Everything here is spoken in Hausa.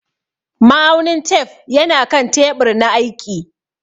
Ma'aunin tef yana kan teɓur na aiƙi.